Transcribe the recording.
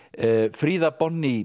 Fríða